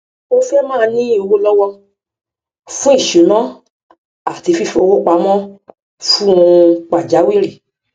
o fẹ máa ní owó lọwọ fún ìṣúná àti fífowó pamọ fún ohun pàjáwìrì